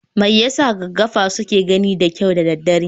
Me yasa gaggafa suke gani da kyau da daddare?